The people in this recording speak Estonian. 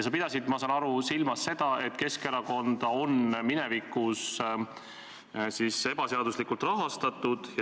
Sa pidasid, ma saan aru, silmas seda, et Keskerakonda on minevikus ebaseaduslikult rahastatud.